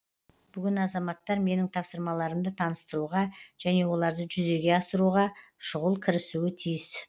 бүгін азаматтар менің тапсырмаларымды таныстыруға және оларды жүзеге асыруға шұғыл кірісуі тиіс